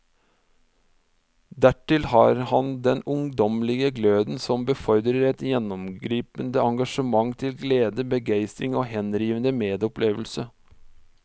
Dertil har han den ungdommelige gløden som befordrer et gjennomgripende engasjement til glede, begeistring og henrivende medopplevelse.